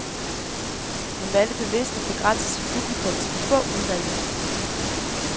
Hun valgte bevidst at begrænse sit publikum til de få udvalgte.